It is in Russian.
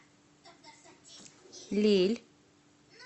лилль